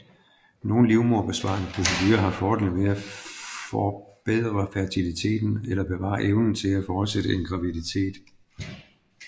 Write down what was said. Nogle livmoderbesparende procedurer har fordelen ved at forbedre fertiliteten eller bevare evnen til at fortsætte en graviditet